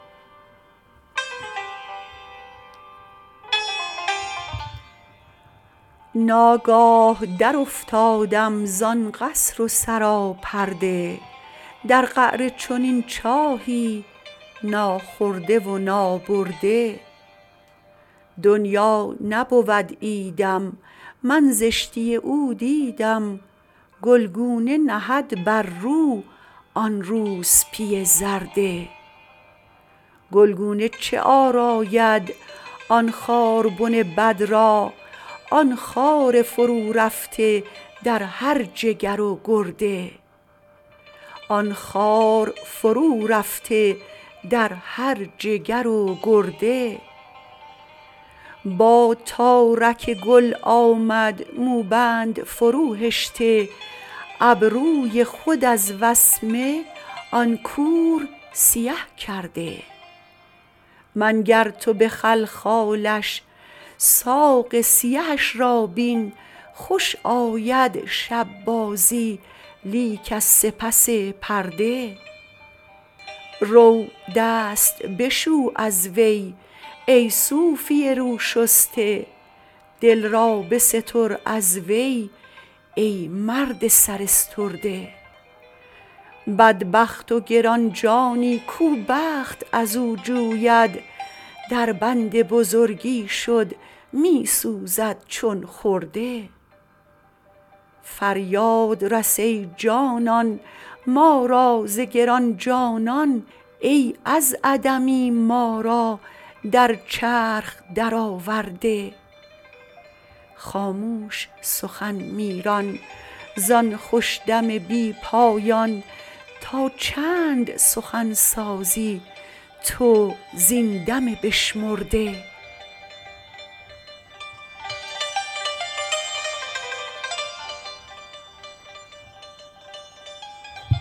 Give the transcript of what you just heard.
ناگاه درافتادم زان قصر و سراپرده در قعر چنین چاهی ناخورده و نابرده دنیا نبود عیدم من زشتی او دیدم گلگونه نهد بر رو آن روسپی زرده گلگونه چه آراید آن خاربن بد را آن خار فرورفته در هر جگر و گرده با تارک گل آمد موبند فروهشته ابروی خود از وسمه آن کور سیه کرده منگر تو به خلخالش ساق سیهش را بین خوش آید شب بازی لیک از سپس پرده رو دست بشو از وی ای صوفی روشسته دل را بستر از وی ای مرد سراسترده بدبخت و گران جانی کو بخت از او جوید دربند بزرگی شد می سوزد چون خرده فریاد رس ای جانان ما را ز گران جانان ای از عدمی ما را در چرخ درآورده خاموش سخن می ران زان خوش دم بی پایان تا چند سخن سازی تو زین دم بشمرده